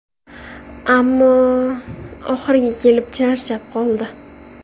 Ammo, oxiriga kelib charchab qoldi.